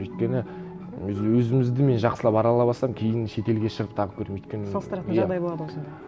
өйткені біз өзімізді мен жақсылап аралап алсам кейін шетелге шығып тағы көремін өйткені салыстыратын жағдай болады ғой сонда